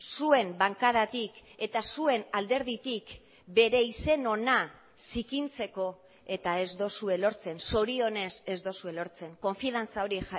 zuen bankadatik eta zuen alderditik bere izen ona zikintzeko eta ez duzue lortzen zorionez ez duzue lortzen konfiantza hori